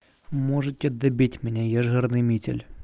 можете добить меня я жирный митель